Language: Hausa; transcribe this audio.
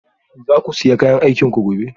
Za ku sa kayan aikinku gobe?